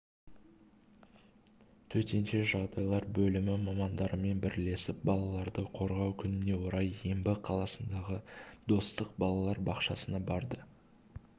төтенше жағдайлар бөлімі мамандарымен бірлесіп балаларды қорғау күніне орай ембі қаласындағы достық балалар бақшасына барды